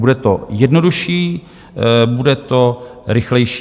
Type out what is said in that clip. Bude to jednodušší, bude to rychlejší.